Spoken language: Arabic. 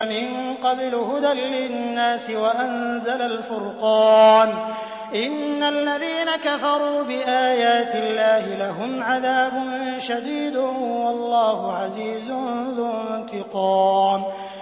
مِن قَبْلُ هُدًى لِّلنَّاسِ وَأَنزَلَ الْفُرْقَانَ ۗ إِنَّ الَّذِينَ كَفَرُوا بِآيَاتِ اللَّهِ لَهُمْ عَذَابٌ شَدِيدٌ ۗ وَاللَّهُ عَزِيزٌ ذُو انتِقَامٍ